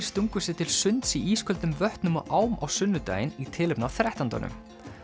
stungu sér til sunds í ísköldum vötnum og ám á sunnudaginn í tilefni af þrettándanum